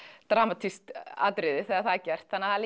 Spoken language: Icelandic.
dramatískt atriði þegar það er gert það er